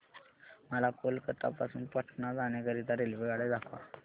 मला कोलकता पासून पटणा जाण्या करीता रेल्वेगाड्या दाखवा